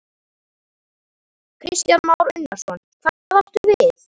Kristján Már Unnarsson: Hvað áttu við?